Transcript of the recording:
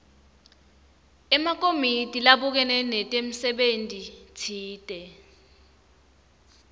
emakomiti labukene nemsebentitsite